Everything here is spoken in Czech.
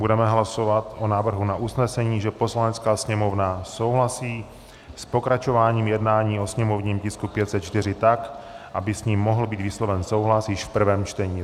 Budeme hlasovat o návrhu na usnesení, že Poslanecká sněmovna souhlasí s pokračováním jednání o sněmovním tisku 504 tak, aby s ním mohl být vysloven souhlas již v prvém čtení.